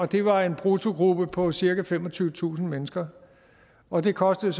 det var en bruttogruppe på cirka femogtyvetusind mennesker og det kostede